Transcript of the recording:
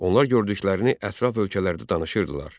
Onlar gördüklərini ətraf ölkələrdə danışırdılar.